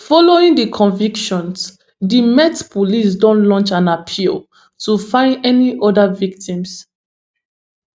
following di convictions di met police don launch an appeal to find any oda victims